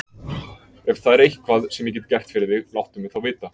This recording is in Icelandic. Ef það er eitthvað, sem ég get gert fyrir þig, láttu mig þá vita.